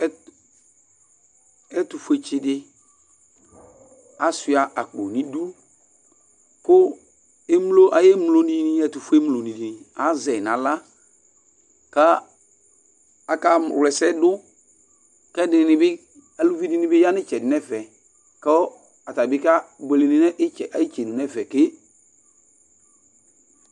Ɛtu fue tsi di asua akpo n'idu, ku emlo ay'emlo dini etufue mlo dini azɛ n'aɣla ka aka wl'ɛsɛdu, k'ɛdinibi aluvɩ dini bi ya n'itsɛdi n'ɛfɛ, kɔ atani bi ke buele n'itsɛdi n'ɛfɛ ke